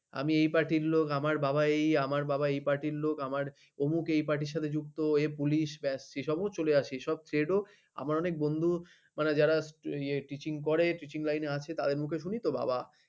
আমি এই party র লোক আমার বাবা এই আমার বাবা এই party র লোক আমার অমুক এই party র সাথে যুক্ত পুলিশ ব্যাস এইসবও চলে আসে ও এই সব trado আমার অনেক বন্ধু যারা মানে teaching করে teaching লাইনে আছে তাদেরকে sorry তো বাবা